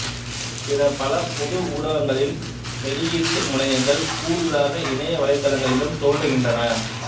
பிற பல பொது ஊடகங்களின் வெளியீட்டு முனையங்கள் கூடுதலாக இணைய வலைத்தளங்களிலும் தோன்றுகின்றன